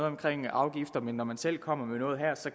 omkring afgifter men når man selv kommer med noget